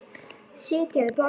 Sitja við borð